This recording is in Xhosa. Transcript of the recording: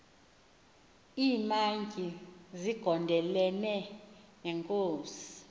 iimantyi zigondelene neenkosi